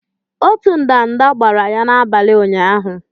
Otu ndanda kwara ya n'abalị ụnyaahụ.